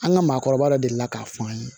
An ka maakɔrɔba dɔ delila k'a fɔ an ye